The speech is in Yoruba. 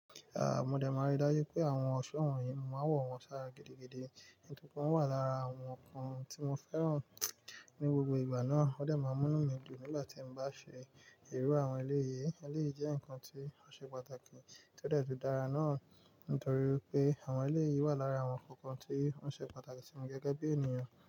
Ah, mo de máa rí dájú pé àwọn ọ̀ṣọ́ wọ̀nyí máa wọ̀ wọ́n sára gidigidi, nítorí pé wọ́n wà lára àwọn nǹkan tí mo fẹ́ràn ní gbogbo ìgbà náà. O de máa mú mí lù nígbà tí mo bá ṣe ìru àwọn elé yìí. Elé jẹ́ nǹkan tí ó ṣe pàtàkì tío de dára náà nítorí pé àwọn elé yìí wà lára àwọn kankan tí ó ṣe pàtàkì sí mi gẹ́gẹ́ bí ènìyàn.